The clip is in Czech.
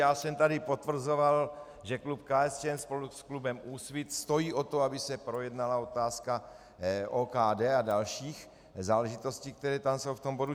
Já jsem tady potvrzoval, že klub KSČM spolu s klubem Úsvit stojí o to, aby se projednala otázka OKD a dalších záležitostí, které tam jsou v tom bodu.